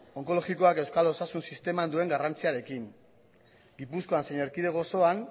onkologikoak euskal osasun sisteman duen garrantziarekin gipuzkoan zein erkidego osoan